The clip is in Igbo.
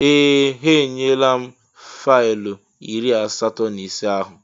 Ee! Ha enyela m faịlụ iri asatọ na ise ahụ.